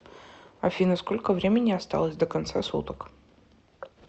афина сколько времени осталось до конца суток